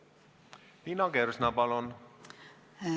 Liina Kersna, palun!